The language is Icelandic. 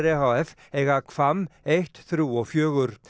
e h f eiga Hvamm eitt þrjú og fjögur